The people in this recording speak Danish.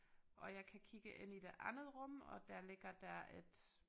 Og jeg kan kigge ind i det andet rum og der ligger der et